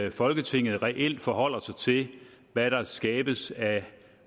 at folketinget reelt forholder sig til hvad der skabes af